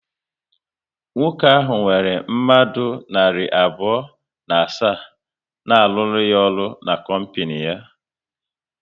Nwoke ahụ nwere mmadụ narị abụọ na asaa na aruru ya ọrụ n'kompinu ya